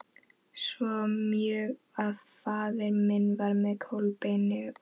Svo mjög að faðir minn var með Kolbeini og